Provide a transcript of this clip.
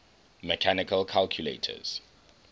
mechanical calculators